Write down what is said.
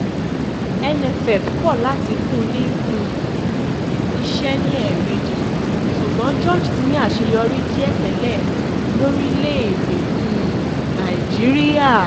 nff kọ̀ láti fún ní um iṣẹ́ ní ẹ̀ẹ̀mejì ṣùgbọ́n george ti ní àṣeyọrí díẹ̀ tẹ́lẹ̀ lórílẹ̀‐èdè um nàíjíríà